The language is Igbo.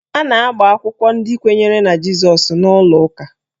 A na-agba akwụkwọ ndị kwenyere na Jizọs n'ụlọ ụka